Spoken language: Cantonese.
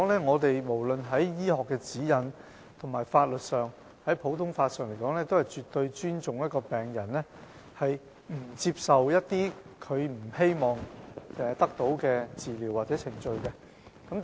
現時，不論是在醫學指引，或普通法法律上來說，我們均絕對尊重病人不接受他們不希望得到的治療或程序的決定。